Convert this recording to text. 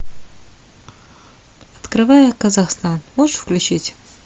открывая казахстан можешь включить